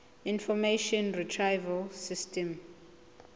information retrieval system